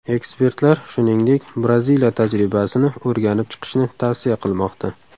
Ekspertlar, shuningdek, Braziliya tajribasini o‘rganib chiqishni tavsiya qilmoqda.